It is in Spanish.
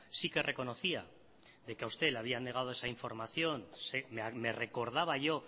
sí que reconocía de que a usted le habían negado esa información me recordaba yo